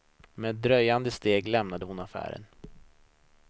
Med dröjande steg lämnade hon affären.